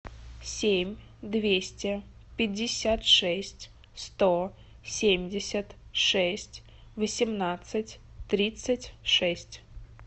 семь двести пятьдесят шесть сто семьдесят шесть восемнадцать тридцать шесть